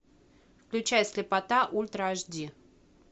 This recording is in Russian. включай слепота ультра аш ди